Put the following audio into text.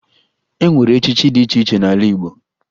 E nwere echichi dị iche iche n'ala Igbo